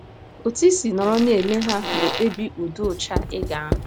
Otú i si nọrọ na - ele ha na - ekpebi ụdị ụcha ị ga - ahụ.